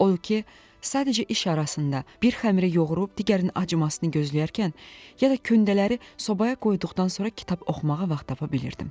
Odur ki, sadəcə iş arasında, bir xəmirə yoğurub digərini acımasını gözləyərkən, ya da köndələri sobaya qoyduqdan sonra kitab oxumağa vaxt tapa bilirdim.